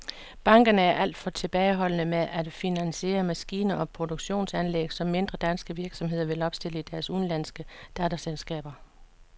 Bankerne er alt for tilbageholdende med at finansiere maskiner og produktionsanlæg, som mindre danske virksomheder vil opstille i deres udenlandske datterselskaber.